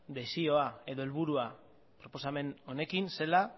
desioa edo helburua proposamen honekin zela